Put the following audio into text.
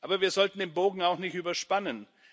Aber wir sollten den Bogen auch nicht überspannen.